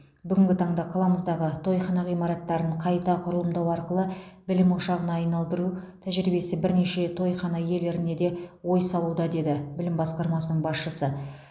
бүгінгі таңда қаламыздағы тойхана ғимараттарын қайта құрылымдау арқылы білім ошағына айналдыру тәжірибесі бірнеше тойхана иелеріне де ой салуда деді білім басқармасының басшысы